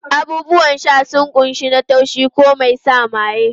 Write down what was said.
Abubuwan sha sun kunshi na taushi ko mai sa maye.